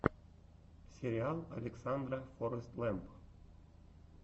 сериал александра форэстлэмп